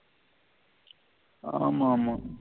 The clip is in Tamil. ஆமாமா